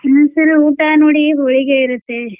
ಹ್ಮ್ sir ಊಟಾ ನೋಡಿ ಹೋಳಿಗೆ ಇರುತ್ತೆ.